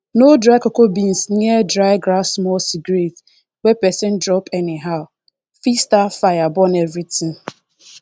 no dry cocoa beans near dry grasssmall cigarette wey person drop anyhow fit start fire burn everything